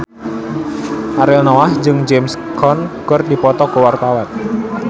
Ariel Noah jeung James Caan keur dipoto ku wartawan